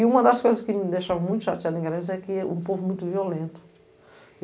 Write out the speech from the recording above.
E uma das coisas que me deixava muito chateada em Garanhuns é que é um povo muito violento.